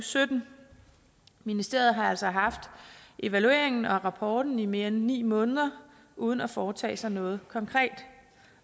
sytten ministeriet har altså haft evalueringen og rapporten i mere end ni måneder uden at foretage sig noget konkret